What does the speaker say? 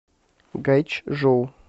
гайчжоу